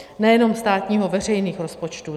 Nejenom státního, veřejných rozpočtů.